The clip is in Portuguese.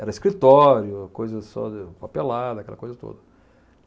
Era escritório, coisa só de papelada, aquela coisa toda.